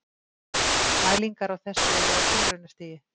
Mælingar á þessu eru á tilraunastigi.